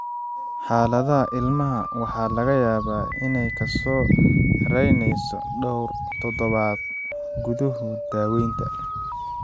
Xaaladda ilmaha waxa laga yaabaa inay ka soo raynayso dhawr toddobaad gudahood daawaynta.